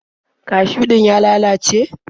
Kashiw din ya lalace?